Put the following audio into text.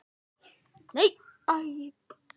Þórhalla, hvenær kemur vagn númer fjörutíu og sex?